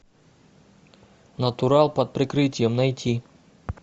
натурал под прикрытием найти